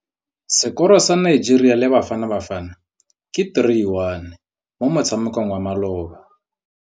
Sekôrô sa Nigeria le Bafanabafana ke 3-1 mo motshamekong wa malôba.